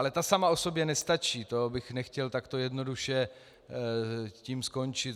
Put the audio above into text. Ale ta sama o sobě nestačí, to bych nechtěl takto jednoduše tím skončit.